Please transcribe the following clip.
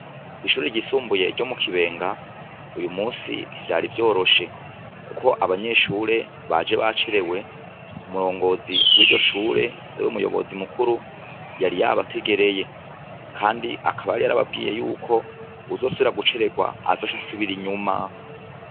Ko'ishuri ryisumbuye ryo mu kibenga uyu musi ntivyari vyoroshe, kuko abanyeshure baje bacerewe umurongozi w'iryo shure ari we umuyobozi mukuru yari yabategereye, kandi akabari yarababwiye yuko uzosubira gucererwa azosha asubira inyuma.